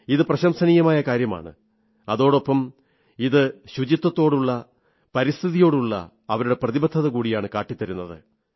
ഇത് പ്രശംസനീയമായ കാര്യമാണ് അതോടൊപ്പം ഇത് ശുചിത്വത്തോടുള്ള പരിസ്ഥിതിയോടുള്ള അവരുടെ പ്രതിബദ്ധതകൂടിയാണ് കാട്ടിത്തരുന്നത്